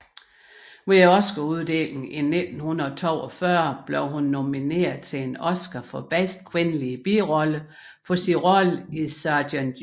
Ved Oscaruddelingen i 1942 blev hun nomineret til en Oscar for bedste kvindelige birolle for sin rolle i Sergent York